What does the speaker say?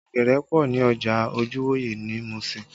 Ọ̀gẹ̀dẹ̀ pọ ní ọjà Ojuwoye ní Musin